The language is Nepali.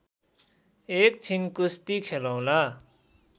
एकछिन कुस्ती खेलौँला